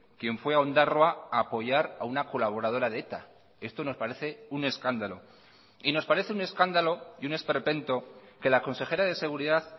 quien fue a ondarroa a apoyar a una colaboradora de eta esto nos parece un escándalo y nos parece un escándalo y un esperpento que la consejera de seguridad